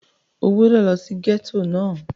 O gbúdọ̀ lọ sí gẹ́tò náà!